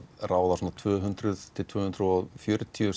ráða tvö hundruð til tvö hundruð og fjörutíu